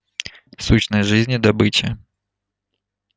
сущность жизни добыча